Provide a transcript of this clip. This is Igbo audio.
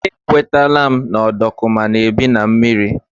E kwetela m na ọdọkụma na-ebi na mmiri.